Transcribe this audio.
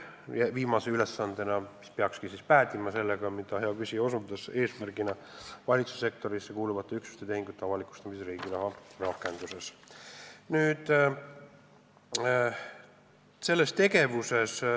Viimaseks ülesandeks, mis peakski päädima sellega, millele hea küsija osutas kui eesmärgile, on valitsussektorisse kuuluvate üksuste tehingute avalikustamine Riigiraha rakenduses.